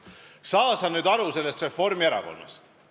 Saa sa nüüd sellest Reformierakonnast aru.